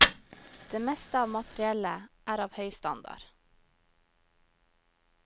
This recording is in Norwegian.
Det meste av materiellet er av høy standard.